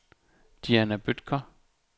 Diana Bødker